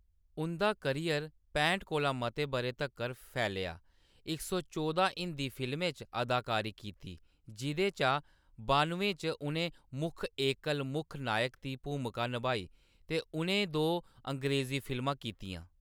उंʼदा करियर पैंह्ट कोला मते बʼरें तक्कर फैलेआ, इक सौ चौह्दां हिंदी फिल्में च अदाकारी कीती, जिʼदे चा बानुएं च उʼनें मुक्ख एकल मुक्ख नायक दी भूमिका नभाई, ते उʼनें दो अंग्रेजी फिल्मां कीतियां।